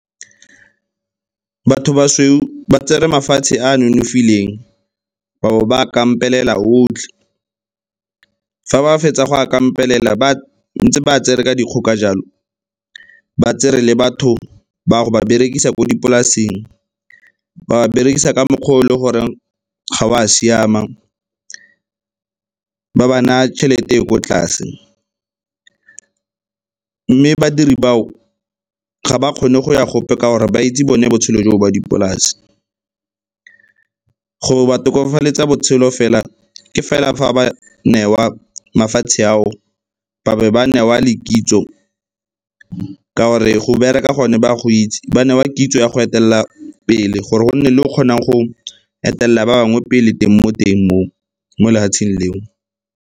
Batho ba sweu ba tsere mafatshe a a nonofileng ba bo ba a kampelela otlhe. Fa ba fetsa go a kampelela, ba ntse ba tsere ka dikgoka jalo, ba tsere le batho ba yo ba berekisa ko dipolaseng, ba berekisa ka mokgw' o le goreng ga o a siama. Ba ba naya tšhelete e ko tlase mme badiri bao, ga ba kgone go ya gope gore ba itse bone botshelo joo ba dipolase. Go ba tokafaletsa botshelo fela ke fela fa ba newa mafatshe ao, ba be ba newa le kitso ka 'ore go bereka gone ba go itse, ba newa kitso ya go etelela pele gore go nne le o kgonang go etelela ba bangwe pele teng mo teng mo lefatsheng leo.